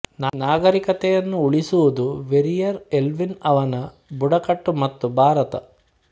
ನಾಗರೀಕತೆಯನ್ನು ಉಳಿಸುವುದು Verrier Elwin ಅವನ ಬುಡಕಟ್ಟು ಮತ್ತು ಭಾರತ